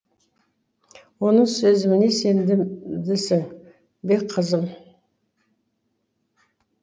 оның сезіміне сендімдісің бе қызым